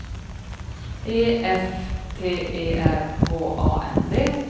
E F T E R H A N D